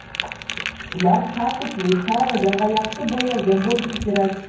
Ular tartibli, taralgan va yaxshi bo‘yalgan bo‘lishi kerak.